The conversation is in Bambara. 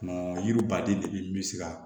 Yiri baden de bɛ min se ka